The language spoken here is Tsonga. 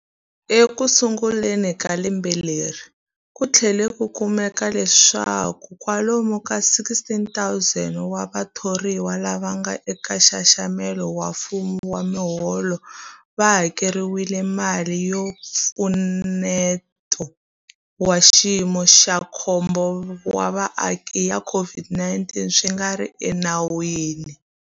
Ekusunguleni ka lembe leri, ku tlhele ku kumeka leswaku kwalomu ka 16,000 wa vathoriwa lava nga eka nxaxamelo wa mfumo wa miholo va hakeriwile mali ya Mpfuneto wa Xiyimo xa Khombo wa Vaaki ya COVID-19 swi nga ri enawini.